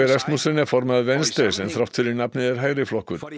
Rasmussen er formaður Venstre sem þrátt fyrir nafnið er hægriflokkur